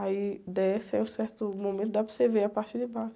Aí desce, aí em um certo momento dá para você ver a parte de baixo.